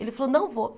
Ele falou, não vou.